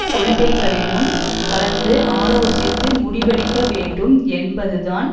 கொள்கைகளிலும் கலந்து ஆலோசித்து முடிவெடுக்க வேண்டும் என்பதுதான்